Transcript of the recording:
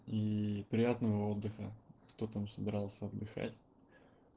и приятного отдыха кто там собирался отдыхать